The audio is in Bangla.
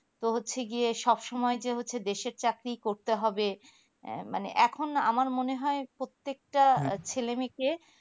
তো হচ্ছে গিয়ে সব সময় যে দেশের চাকরি করতে হবে আহ মানে এখন আমার মনে হয় প্রত্যেকটা ছেলে মেয়েকে